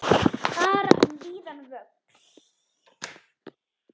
Fara um víðan völl.